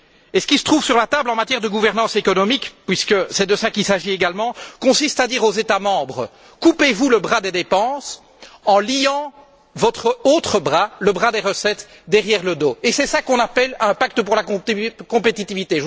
Ce qui se trouve sur la table en matière de gouvernance économique, puisque c'est de cela qu'il s'agit également, consiste à dire aux États membres Coupez vous le bras des dépenses en liant votre autre bras, le bras des recettes, derrière le dos, et c'est cela qu'on appelle un pacte pour la compétitivité.